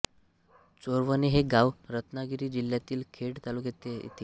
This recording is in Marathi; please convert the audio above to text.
चोरवणे हे गाव रत्नागिरी जिल्हातील खेड तालुक्यात येते